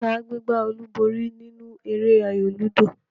Ta gbé gbá olúborí nínú eré ayò lúdò?